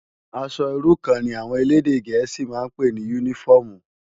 Aṣò irú kàn ni áwòn élédè gẹẹsi mà n pé ni unifòmú